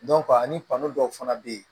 ani dɔw fana bɛ yen